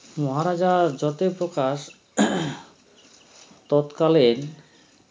মহারাজা জ্যোতিপ্রকাশ তৎকালীন